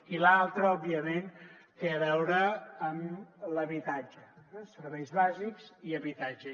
i l’altre òbviament té a veure amb l’habitatge eh serveis bàsics i habitatge